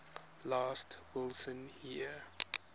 last wilson year